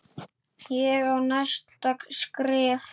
Ég á næsta skref.